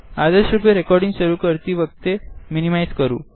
આગ્રેસરથી recording શરૂઆત કરતી વખતે મીનીમાઇઝ કરવું